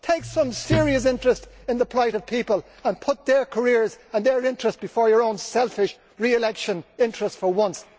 Take some serious interest in the plight of people and put their careers and their interests before your own selfish re election interests for once.